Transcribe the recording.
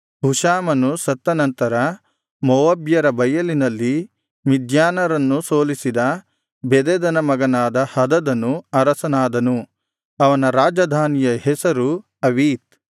ಹುಷಾಮನು ಸತ್ತ ನಂತರ ಮೋವಾಬ್ಯರ ಬಯಲಿನಲ್ಲಿ ಮಿದ್ಯಾನರನ್ನು ಸೋಲಿಸಿದ ಬೆದದನ ಮಗನಾದ ಹದದನು ಅರಸನಾದನು ಅವನ ರಾಜಧಾನಿಯ ಹೆಸರು ಅವೀತ್